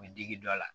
U bɛ digi dɔ la